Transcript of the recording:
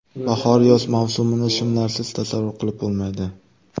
Bahor-yoz mavsumini shimlarsiz tasavvur qilib bo‘lmaydi.